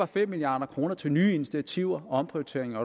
fem milliard kroner til nye initiativer og omprioriteringer